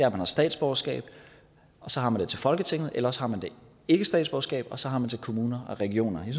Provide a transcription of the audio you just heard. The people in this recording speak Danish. at man har statsborgerskab og så har man det til folketinget eller også har man ikke statsborgerskab og så har man til kommuner og regioner jeg